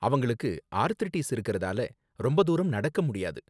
அவங்களுக்கு ஆர்த்ரிடீஸ் இருக்கறதால ரொம்ப தூரம் நடக்க முடியாது